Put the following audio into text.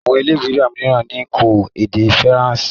Àwọn ilé ìwé míràn kò ede faransé.